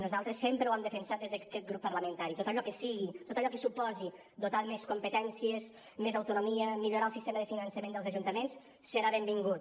nosaltres sempre ho hem defensat des d’aquest grup parlamentari tot allò que sigui tot allò que suposi dotar de més competències més autonomia millorar el sistema de finançament dels ajuntaments serà benvingut